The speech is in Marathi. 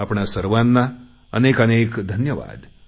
आपणा सर्वांना अनेक अनेक धन्यवाद